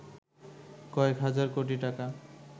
কয়েক হাজার কোটি টাকা